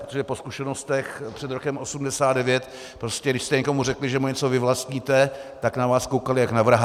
Protože po zkušenostech před rokem 1989 prostě když jste někomu řekli, že mu něco vyvlastníte, tak na vás koukali jak na vraha.